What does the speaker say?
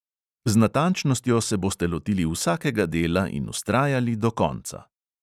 Z natančnostjo se boste lotili vsakega dela in vztrajali do konca.